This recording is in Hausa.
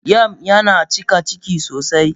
Yam yana cika Ciki sosai.